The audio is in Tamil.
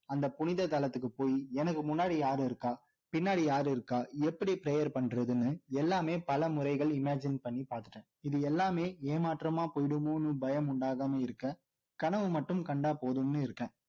அந்த புனித தளத்துக்கு போய் எனக்கு முன்னாடி யாரு இருக்கா பின்னாடி யாரு இருக்கா எப்படி prayer பண்றதுன்னு எல்லாமே பல முறைகள் imagine பண்ணி பார்த்துட்டேன் இது எல்லாமே ஏமாற்றமா போயிடுமோன்னு பயம் உண்டாகாம இருக்க கனவு மட்டும் கண்டா போதும்னு இருக்கேன்